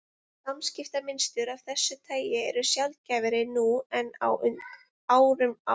Samskiptamynstur af þessu tagi eru sjaldgæfari nú en á árum áður.